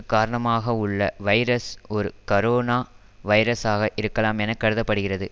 காரணமாகவுள்ள virus ஒரு corona வைரஸ்சாக இருக்கலாம் என கருத படுகிறது